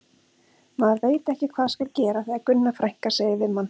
Maður veit ekki hvað skal gera þegar Gunna frænka segir við mann